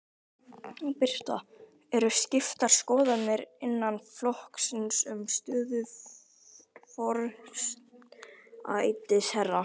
Birta: Eru skiptar skoðanir innan flokksins um stöðu forsætisráðherra?